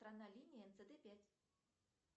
линия цт пять